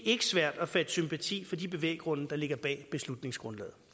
ikke svært at fatte sympati for de bevæggrunde der ligger bag beslutningsforslaget